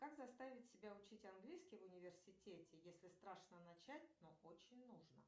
как заставить себя учить английский в университете если страшно начать но очень нужно